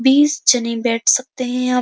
बीस जने बैठ सकतें हैं यहाँ --